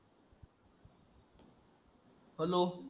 hello